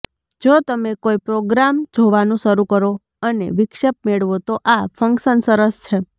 જો તમે કોઈ પ્રોગ્રામ જોવાનું શરૂ કરો અને વિક્ષેપ મેળવો તો આ ફંક્શન સરસ છે